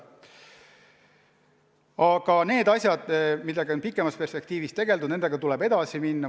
Aga asjadega, millega on pikemas perspektiivis tegeldud, tuleb edasi minna.